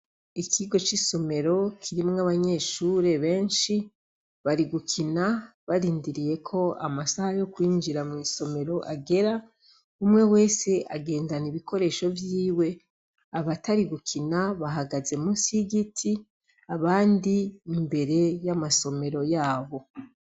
Ikigo c'isomero kirimwo abanyeshuri beshi bari gukina barindiriye ko amasaha yo kwinjira mw'isomero agera umwe wese agendana ibikoresho vyiwe abatari gukina bahagaze munsi y'igiti abandi imbere y'amasomero yabo.